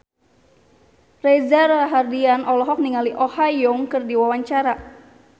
Reza Rahardian olohok ningali Oh Ha Young keur diwawancara